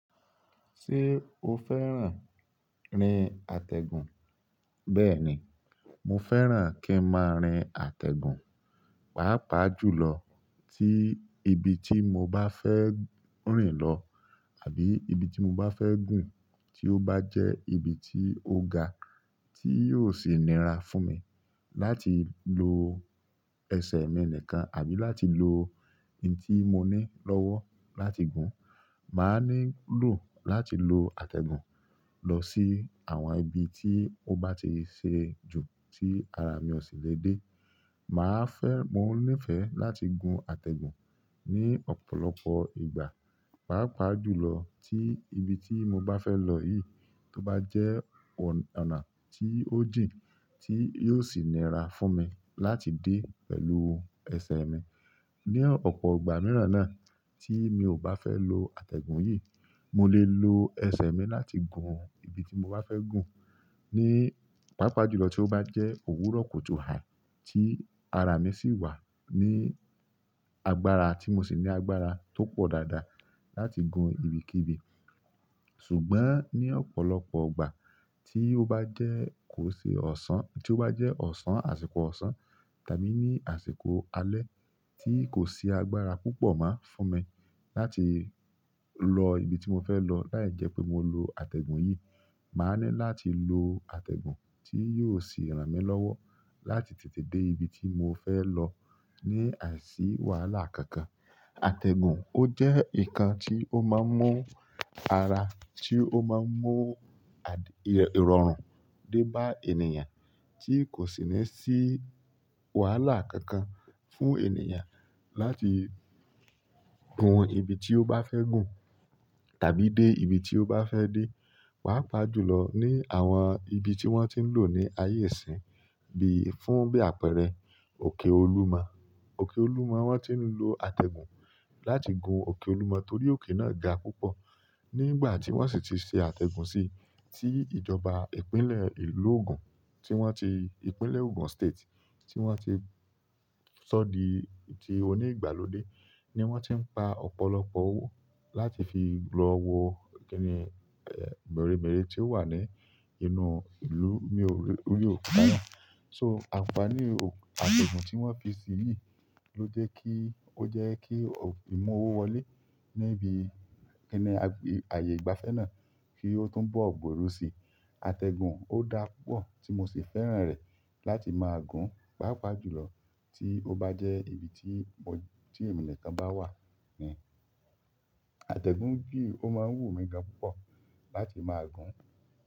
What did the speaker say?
Ṣé o fẹ́ràn rín àtẹ̀gùn? Bẹ́ẹ̀ni, mo fẹ́ràn kí n máa rín àtẹ̀gùn, pàápàá jùlọ tí ibi tí mo bá fẹ́ rìn lọ àbí ibi tí mo bá fẹ́ gùn tí ó bá jẹ́ ibi tí ó ga tí yóò sì nira fún mi láti lo ẹsẹ̀ mi nìkan àbí láti lo ohun tí mo ní lọ́wọ́ láti gùn. Máa nílò láti lo àtẹ̀gùn lọ sí àwọn ibi tí ó bá ti ṣe jù tí ara mi ò sì lè dé. Máa fẹ́, mo níìfẹ̀ láti gun àtẹ̀gùn ní ọ̀pọ̀lọpọ̀ ìgbà, pàápàá jùlọ tí ibi tí mo bá fẹ́ lọ yìí tó bá jẹ́ ọ̀nà tí ó jin tí yóò sì nira fún mi láti dé pẹ̀lú ẹsẹ̀ mi. Ni ọ̀pọ̀ ìgbà mìíràn náà tí mi ò bá fẹ́ lo àtẹ̀gùn yìí, mo lè lo ẹsẹ̀ mi láti gun ibi tí mo bá fẹ́ gùn ní pàápàá jùlọ tí ó bá jẹ́ òwúrọ̀ kutú hài tí ara mi sì wà ní agbára tí mo sì ní agbára tó pọ̀ dáadáa láti gun ibikíbi. Ṣùgbọ́n ni ọ̀pọ̀lọpọ̀ ìgbà ti o bàjẹ́, ko se osan, ti o ba je osan àsìkò osan tàbí àsìkò alẹ́ ti ko si agbára púpọ̀ mo funmi láti lọ ibi tí mo fẹ́ lọ láìjẹ́ pé mo lo àtẹ̀gùn yìí, màá ní láti lo àtẹ̀gùn tí yóò sì ràn mí lọ́wọ́ láti tètè dé ibi tí mo fẹ́ lọ ní àìsí wàhálà kankan. Àtẹ̀gùn ó jẹ́ nǹkan tí ó máa ń mú ara, tí ó máa ń mú ìrọ̀rùn. De ba ènìyàn ti kosi ni si wàhálà kankan fún ènìyàn láti gun ibi ti o ba fe gun tàbí de ibi ti o ba fe de, papa jùlọ ni àwọn ibi ti won ti n lo ni aye isin. Bí fún bí àpẹẹrẹ òkè Olúmọ. Òkè Olúmọ wọ́n ti ń lo àtẹ̀gùn láti gun òkè Olúmọ torí òkè náà ga púpọ̀. Nígbà tí wọ́n sì ti ṣe àtẹ̀gùn sí, tí ìjọba ìpínlẹ̀ ìlú ògùn tí wọ́n ti, ìpínlẹ̀ Ògùn State tí wọ́n ti ṣọ́ di ti oní ìgbàlódé ni wọ́n ti ń pa ọ̀pọ̀lọpọ̀ owó láti fi lọ wo kínní, mẹ́rẹ̀mẹ́rẹ̀ tí ó wà ní inú ìlú ní orí òkuta náà. Àǹfààní ate ategun ti won fi si yìí o je kii oke mowo wọlé ki aye ìgbafẹ́ náà ko tun bo gberu si. Ategun o daa púpọ̀, ti mo si fẹ́ràn re láti maa gun papa jùlọ ti o ba je ibi ti ènìyàn kan ba wa. Àtẹ̀gùn n bí ó máa ń wù mí gan púpọ̀ láti máa gùn.